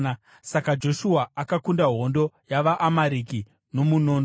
Saka Joshua akakunda hondo yavaAmareki nomunondo.